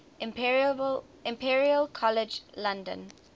imperial college london